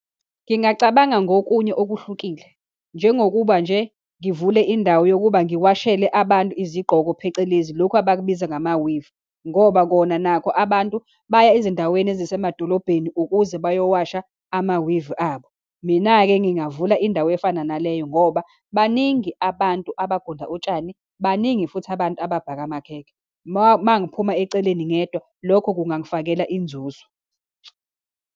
Ngingacabanga ngokunye okuhlukile, njengokuba nje ngivule indawo yokuba ngiwashele abantu izigqoko, phecelezi lokhu abakubiza ngama-weave, ngoba kona nakho abantu baya ezindaweni ezisemadolobhedeni ukuze bayowasha ama-weave abo. Mina-ke, ngingavula indawo efana naleyo, ngoba baningi abantu abagunda utshani, baningi futhi abantu ababhaka amakhekhe. Uma ngiphuma eceleni ngedwa, lokho kungangifakela inzuzo.